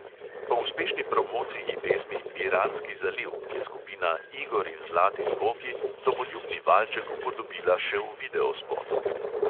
Po uspešni promociji pesmi piranski zaliv je skupina igor in zlati zvoki domoljubni valček upodobila še v videospotu.